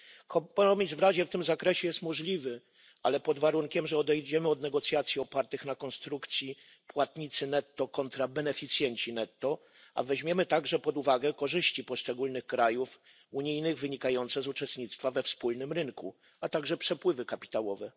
Kompromis w Radzie w tym zakresie jest możliwy, ale pod warunkiem, że odejdziemy od negocjacji opartych na konstrukcji płatnicy netto kontra beneficjenci netto, a weźmiemy również pod uwagę korzyści poszczególnych krajów unijnych wynikające z uczestnictwa we wspólnym rynku, a także przepływy kapitałowe.